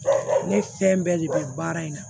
Ne fɛn bɛɛ de bɛ baara in na